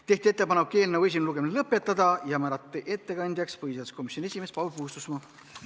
Tehti ettepanek eelnõu esimene lugemine lõpetada ja määrati ettekandjaks põhiseaduskomisjoni esimees Paul Puustusmaa.